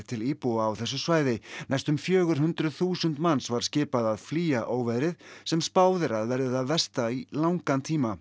til íbúa á þessu svæði næstum fjögur hundruð þúsund manns var skipað að flýja óveðrið sem spáð er að verði það versta í langan tíma